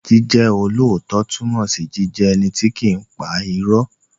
Jíjẹ́ olóòótọ́ túnmọ̀ sí jíjẹ́ ẹni tí kìí pa irọ́.